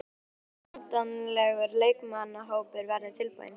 Hvenær áttu von á að endanlegur leikmannahópur verði tilbúinn?